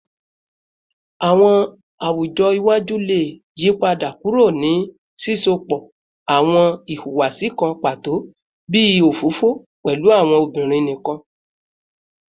Awọn awujọ iwaju le yipada kuro ni sisọpọ awọn ihuwasi kan pato bii ofofo pẹlu awọn obinrin nikan